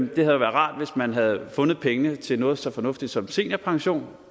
været rart hvis man havde fundet pengene til noget så fornuftigt som seniorpension